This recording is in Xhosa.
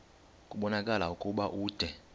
kubonakala ukuba ude